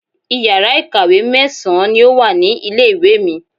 Iyàrá ìkàwé mẹ́sàn-án ni o wa ní ilé ìwé mi